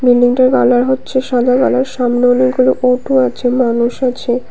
বিল্ডিংটির কালার হচ্ছে সাদা কালার সামনে অনেকগুলো অটো আছে মানুষ আছে।